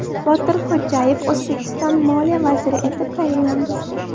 Botir Xo‘jayev O‘zbekiston Moliya vaziri etib tayinlandi.